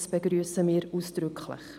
Das begrüssen wir ausdrücklich.